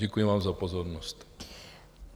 Děkuji vám za pozornost.